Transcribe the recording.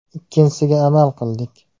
Ikkinchisiga amal qildik.